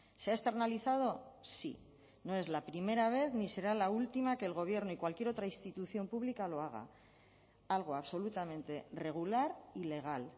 se ha externalizado sí no es la primera vez ni será la última que el gobierno y cualquier otra institución pública lo haga algo absolutamente regular y legal